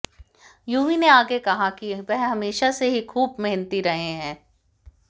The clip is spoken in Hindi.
यूवी ने आगे कहा कि वह हमेशा से ही खूब मेहनती रहे हैं